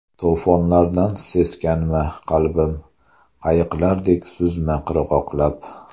To‘fonlardan seskanma, qalbim, Qayiqlardek suzma qirg‘oqlab.